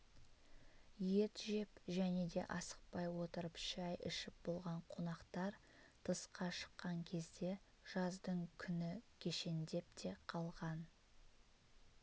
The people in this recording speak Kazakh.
ет жеп және де асықпай отырып шай ішіп болған қонақтар тысқа шыққан кезде жаздың күні кешендеп те қалған